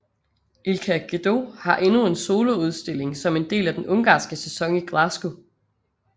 Ilka Gedő har endnu en soloudstilling som en del af den ungarske sæson i Glasgow